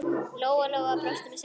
Lóa-Lóa brosti með sjálfri sér.